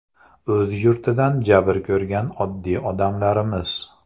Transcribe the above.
O‘z yurtidan jabr ko‘rgan oddiy odamlarmiz!